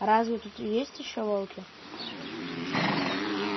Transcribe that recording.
а разве тут есть ещё волки